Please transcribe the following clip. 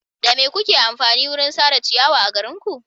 Da me kuke amfani wurin sare ciyawa a garinku?